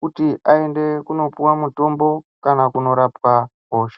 kuti azopiwa mutombo Kundorapwaa hosha.